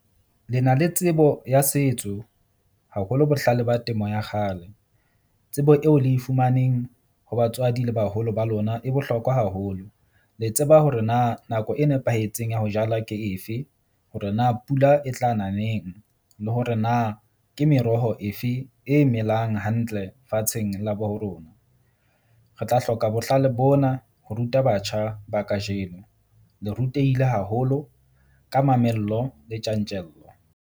Le na le tsebo ya setso haholo, bohlale ba temo ya kgale. Tsebo eo le e fumaneng ho batswadi le baholo ba lona e bohlokwa haholo. Le tseba hore na nako e nepahetseng ya ho jala ke efe hore na pula e tla na neng le hore na ke meroho efe e melang hantle fatsheng la bo ho rona. Re tla hloka bohlale bona ho ruta batjha ba kajeno le rutehile haholo ka mamello le tjantjello.